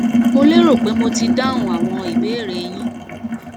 mo lérò pé mo ti dáhùn àwọn ìbéèrè e yín